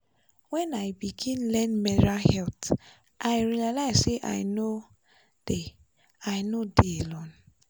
when i begin learn menstrual health i realize say i no dey i no dey alone.